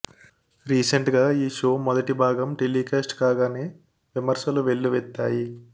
recent గా ఈ show మొదటి భాగం టెలికాస్ట్ కాగానే విమర్శలు వెల్లువెత్తాయి